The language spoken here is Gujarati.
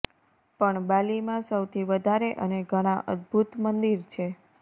પણ બાલીમાં સૌથી વધારે અને ઘણા અદભુત મંદિર છે